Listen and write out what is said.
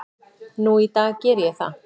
Nú í dag geri ég það.